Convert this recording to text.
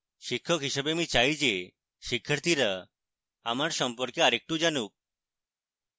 শিক্ষক হিসাবে আমি চাই যে শিক্ষার্থীরা আমার সম্পর্কে আরেকটু জানুক